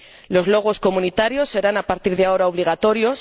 Los logotipos comunitarios serán, a partir de ahora, obligatorios.